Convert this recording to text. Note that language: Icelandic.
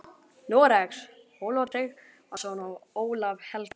Noregs, Ólaf Tryggvason og Ólaf helga.